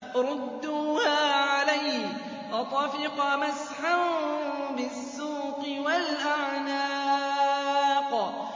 رُدُّوهَا عَلَيَّ ۖ فَطَفِقَ مَسْحًا بِالسُّوقِ وَالْأَعْنَاقِ